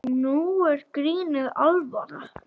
Nú er grínið alvara.